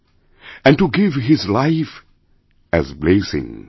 and to give his life as blessing